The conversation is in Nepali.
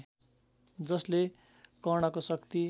जसले कर्णको शक्ति